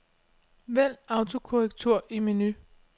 Vælg autokorrektur i menu.